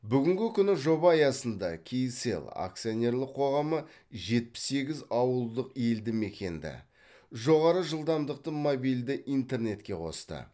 бүгінгі күні жоба аясында кселл акционерлік қоғамы жетпіс сегіз ауылдық елді мекенді жоғары жылдамдықты мобильді интернетке қосты